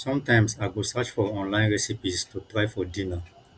sometimes i go search for online recipes to try for dinner